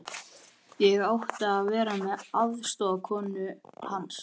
Ég átti að vera aðstoðarkona hans.